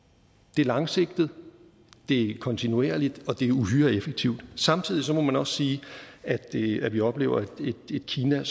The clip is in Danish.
det er langsigtet det er kontinuerligt og det er uhyre effektivt samtidig må man også sige at sige at vi oplever et kina